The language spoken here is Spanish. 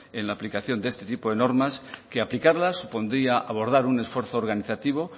en la aplicación de este tipo de normas que aplicarlas supondría abordar un esfuerzo organizativo